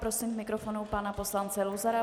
Prosím k mikrofonu pana poslance Luzara.